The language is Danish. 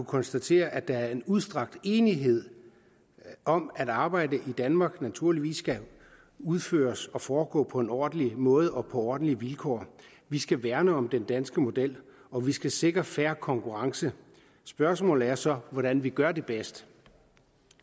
konstatere at der er en udstrakt enighed om at arbejde i danmark naturligvis skal udføres og foregå på en ordentlig måde og på ordentlige vilkår vi skal værne om den danske model og vi skal sikre fair konkurrence spørgsmålet er så hvordan vi gør det bedst